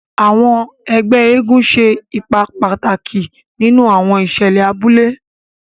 Àwọn ègbé eégún ṣe ipá pàtàkì nínú àwọn ìṣẹlẹ abúlé.